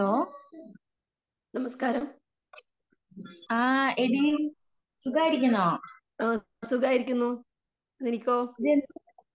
നമസ്കാരം. ആ സുഖമായിരിക്കുന്നു. നിനക്കോ?